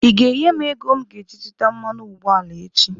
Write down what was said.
Ị ga-enye m ego m ga-eji zụta mmanụ ụgbọala echi!